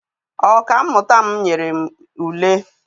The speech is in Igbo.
Ọka mmụta m nyere m ule.